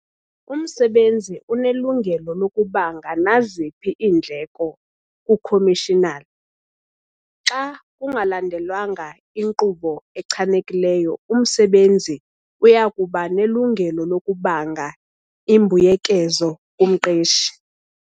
Umsebenzi unelungelo lokubanga naziphi iindleko kuKhomishinala. Xa kungalandelwanga inkqubo echanekileyo umsebenzi uya kuba nelungelo lokubanga imbuyekezo kumqeshi.